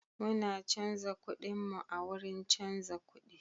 Muna canza kudinmu a wurin canza kudi.